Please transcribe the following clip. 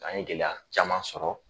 An ye gɛlɛya caman sɔrɔ